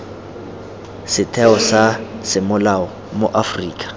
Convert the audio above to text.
setheo sa semolao mo aforika